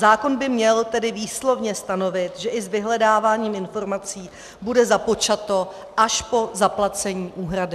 Zákon by tedy měl výslovně stanovit, že i s vyhledáváním informací bude započato až po zaplacení úhrady.